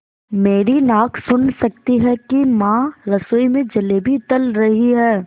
मेरी नाक सुन सकती है कि माँ रसोई में जलेबियाँ तल रही हैं